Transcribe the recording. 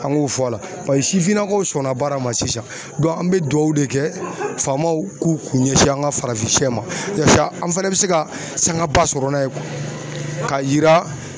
An k'o fɔ a la pasi sifinnakaw sɔnna baara ma sisan an bɛ duwawu de kɛ faamaw k'u kun ɲɛsin an ka farafinsɛ ma yasa an fana bɛ se ka sanga ba sɔrɔ n'a ye ka yira